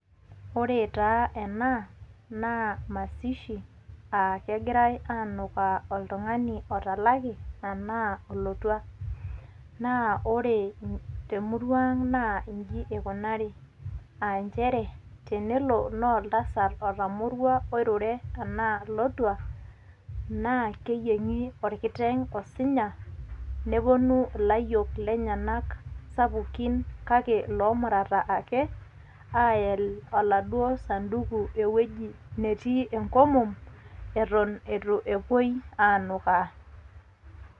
Ore taa ena naa mazishi um kegirai aanukaa oltung'ani otalaki anaa olotua. Naa ore te murua aang' naa inji eikunaari um njere tenelo naa oltasat otamorua oirure, anaa otua naa keyieng'i olkiteng' osinya nepuonu ilayiok lenyena sapukin kake loomurata ake ayiel oladuo sanduku enetii enkomom eton eitu epuoi aanukaa.